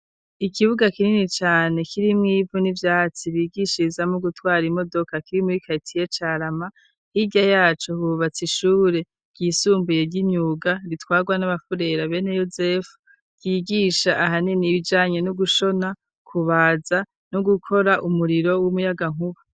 ikibuga kinini cane kirimwo ivu n'ivyatsi bigishirizamwo gutwara imodoka kiri muri karitiye Carama hirya yaco hubatswe ishure ryisumbuye ry'imyuga ritwarwa n'abafurera bene yosefu ryigisha ahanini ibijanye no gushona kubaza no gukora umuriro w'umuyagankuba.